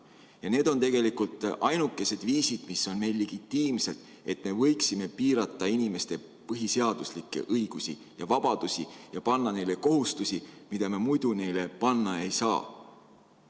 Ja need on tegelikult ainukesed viisid, mis on meil legitiimsed, et me võiksime piirata inimeste põhiseaduslikke õigusi ja vabadusi ja panna neile kohustusi, mida me muidu neile panna ei saa.